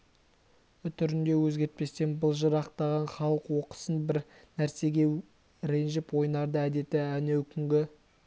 үтірін де өзгертпестен былжырақтарын халық оқысын бір нәрсеге ренжіп ойнарда әдеті әнеукүнгі